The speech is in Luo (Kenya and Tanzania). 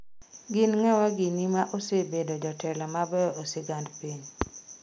Gin ng'awa gini ma osebedo jotelo mabeyo e sigand piny?